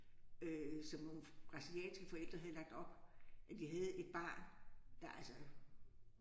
Øh som nogle brasilianske forældre havde lagt op. Øh de havde et barn der altså